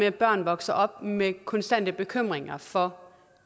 at børn vokser op med konstante bekymringer for